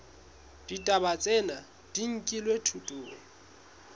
ditaba tsena di nkilwe thutong